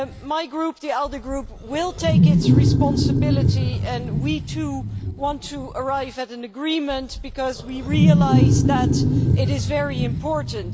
My group, the ALDE Group, will accept its responsibility and we, too, want to arrive at an agreement because we realise that it is very important.